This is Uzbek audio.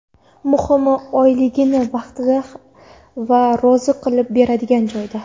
Muhimi, oyligini vaqtida va rozi qilib beradigan joyda.